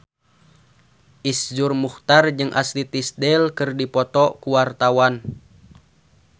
Iszur Muchtar jeung Ashley Tisdale keur dipoto ku wartawan